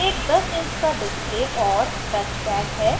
इसमें एक 10 inch का display और touchpad है